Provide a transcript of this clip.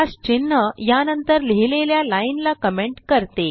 चिन्ह या नंतर लिहिलेल्या लाइन ला कमेंट करते